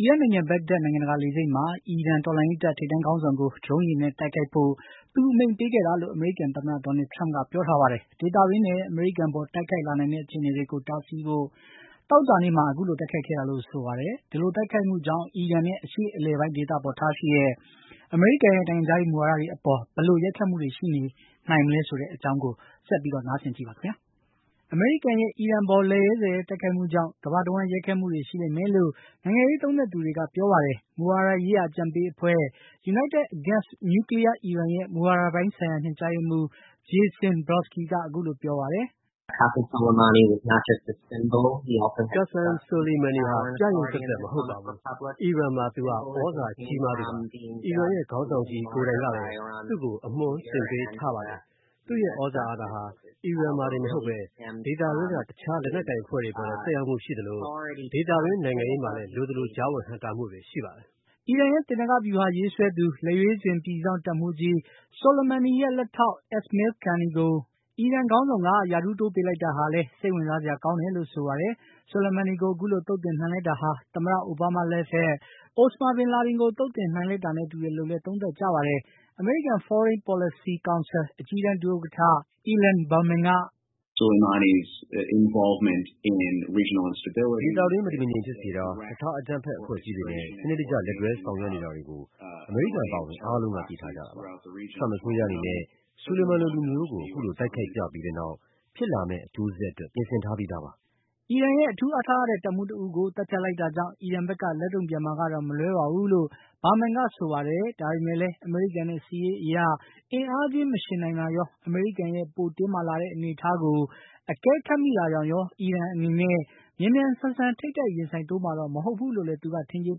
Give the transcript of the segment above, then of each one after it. အီရတ်နိုင်ငံ ဘဂ္ဂဒက် နိုင်ငံတကာလေဆိပ်မှာ အီရန်တော်လှန်ရေးတပ် ထိပ်တန်းခေါင်းဆောင် ကို ဒရုန်းယာဉ်နဲ့တိုက်ခိုက်ဖို့ သူအမိန့်ပေးခဲ့တာလို့ အမေရိကန်သမ္မတ Donald Trump က ပြောပါတယ်။ ဒေသတွင်းနဲ့ အမေရိကန်အပေါ် တိုက်ခိုက်လာနိုင်တဲ့ အခြေအနေတွေကို တားဆီးဖို့ သောကြာနေ့မှာ အခုလို တိုက်ခိုက်ခဲ့တာလို့ ဆိုပါတယ်။ ဒီလိုတိုက်ခိုက်မှုကြောင့် အီရန်နဲ့ အရှေ့အလယ်ပိုင်းဒေသဆိုင်ရာ အမေရိကန်ရဲ့ နိုင်ငံခြားရေးမူဝါဒတွေအပေါ် ဘယ်လို ရိုက်ခတ်မှုရှိလာနိုင်မလဲဆိုတဲ့အကြောင်း VOA သတင်းထောက် Steve Hirsch ပေးပို့ထားတဲ့ သတင်းလွှာကို ကိုအောင်အောင်က တင်ပြထားပါတယ်။ အမေရိကန်ရဲ့ အခုလို လက်ရဲဇက်ရဲ တိုက်ခိုက်မှုကြောင့် ကမ္ဘာတဝန်း ရိုက်ခတ်မှုတွေ ရှိလိမ့် မယ်လို့ နိုင်ငံရေးသုံးသပ်သူတွေကဆိုပါတယ်။ မူဝါဒရေးရာ အကြံပေးအဖွဲ့ United Against Nuclear Iran ရဲ့ မူဝါဒပိုင်းဆိုင်ရာ ညွှန်ကြားရေးမှူး Jason Brodsky က အခုလို ပြောပါတယ်။ “Qasem Soleimani ဟာ ပြယုဂ်သက်သက်သာ မဟုတ်ပါဘူး။ အီရန်မှာ သူဟာ သြဇာကြီးမား သူပါ။ အီရန်ခေါင်းဆောင်ကြီး ကိုယ်တိုင်ကလည်း သူ့ကို အမွှမ်းတင်ပေးထားတာပါ။ သူ့ရဲ့သြဇာ အာဏာဟာ အီရန်မှာတင်မဟုတ်ဘဲ ဒေသတွင်းက တခြား လက်နက်ကိုင်အဖွဲ့တွေအပေါ် လည်း သက်ရောက်မှုရှိသလို ဒေသတွင်း နိုင်ငံရေးမှာလည်း လိုသလို ကြားဝင် နှောင့်ယှက်တာ တွေရှိပါတယ်။” အီရန်ရဲ့ သေနင်္ဂဗျူဟာ ရေးဆွဲသူ၊ လက်ရွေးစင် ပြည်စောင့်တပ်မှူးကြီး Soleimani ရဲ့ လက်ထောက် Esmail Qaani ကို အီရန်ခေါင်းဆောင်က ရာထူးတိုးပေးလိုက်တာဟာလည်း စိတ်ဝင်စားစရာကောင်းတယ်လို့ Brodsky က ဆိုပါတယ်။ Soleimani ကို ခုလို သုတ်သင်နိုင်လိုက်တာဟာ သမ္မတ အိုဘားမားလက်ထက် အိုစမာဘင်လာဒင်ကို သုတ်သင်နိုင်လိုက်တာ၊ သမ္မတ Trump လက်ထက် al-Baghdadi ကို သုတ်သင်လိုက်တာတွေနဲ့ တူတယ်လို့လည်း သုံးသပ်ကြပါတယ်။ American Foreign Policy Council အကြီးတန်း ဒုဥက္ကဋ္ဌ Ilan Berman က - “ဒေသတွင်း မတည်မငြိမ်ဖြစ်စေတာ၊ တခြား အကြမ်းဖက်အဖွဲ့အစည်းတွေနဲ့ စနစ်တကျ လက်တွဲဆောင်ရွက်နေတာတွေကို အမေရိကန်အပါအဝင် အားလုံးက သိထားကြတာပါ။ Trump အစိုးရအနေနဲ့ Soleimani လိုလူမျိုးကို အခုလို တိုက်ခိုက်ပြပြီးတဲ့နောက် ဖြစ်လာမယ့် အကျိုးဆက်အတွက် ပြင်ဆင်ထားပြီးသားပါ။” အီရန်ရဲ့ အထူးအားထားရတဲ့ တပ်မှူးတဦးကို သတ်ဖြတ်လိုက်တာကြောင့် အီရန်ဘက်က လက်တုံ့ပြန်မှာကတော့မလွဲပါဘူးလို့ Berman ကဆိုပါတယ်။ ဒါပေမယ့်လည်း အမေရိကန်နဲ့ စစ်ရေးအရ အင်အားချင်းမယှဉ်နိုင်တာရော၊ အမေရိကန်ရဲ့ ပိုတင်းမာလာတဲ့ အနေအထားကို အကဲခတ်မိတာကြောင့်ရော အီရန်အနေနဲ့ မြန်မြန်ဆန်ဆန် ထိပ်တိုက်ရင်ဆိုင်တိုးမှာတော့ မဟုတ်ဘူးလို့လည်း သူက ထင်ကြေး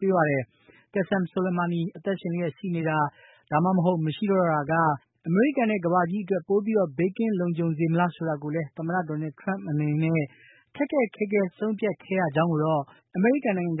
ပေးပါတယ်။ Qassem Soleimani အသက်ရှင်လျက်ရှိခြင်း မရှိခြင်းမှာ ဘယ်အခြေအနေက အမေရိကန်နဲ့ ကမ္ဘာကြီးအတွက် ပိုပြီး ဘေးကင်းလုံခြုံစေမလဲဆိုတဲ့ ခက်ခဲတဲ့ဆုံးဖြတ်ချက်ကို သမ္မတ Donald Trump ရွေးချယ် ချမှတ်ခဲ့ရတယ်လို့ အမေရိကန်နိုင်ငံခြား